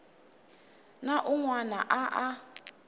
na un wana a a